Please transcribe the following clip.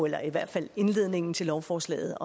eller i hvert fald indledningen til lovforslaget